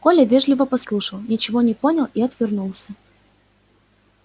коля вежливо послушал ничего не понял и отвернулся